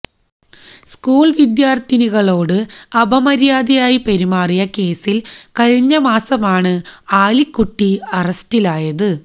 school വിദ്യാര്ത്ഥിനികളോട് അപമര്യാദയായി പെരുമാറിയ കേസില് കഴിഞ്ഞ മാസമാണ് ആലിക്കുട്ടി അറസ്റ്റിലായത്